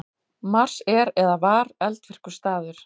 Mars er eða var eldvirkur staður.